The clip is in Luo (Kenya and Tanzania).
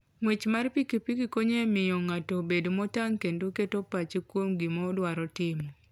Ng'wech mar pikipiki konyo e miyo ng'ato obed motang' kendo keto pache kuom gima idwaro timo.